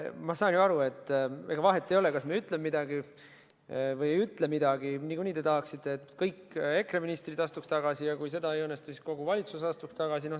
Ma saan ju aru, et ega vahet ei ole, kas ma ütlen midagi või ei ütle midagi, niikuinii te tahaksite, et kõik EKRE ministrid astuks tagasi, ja kui see ei õnnestu, et siis kogu valitsus astuks tagasi.